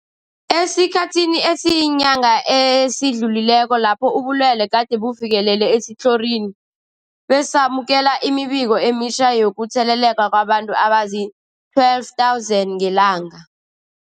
Esikhathini esiyinyanga esidlulileko lapho ubulwele gade bufikelele esitlhorini, besamukela imibiko emitjha yokutheleleka kwabantu abazii-12 000 ngelanga.